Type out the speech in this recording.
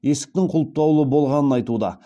есіктің құлыптаулы болғанын айтуда